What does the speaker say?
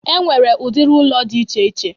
E nwere udiri ụlọ dị iche iche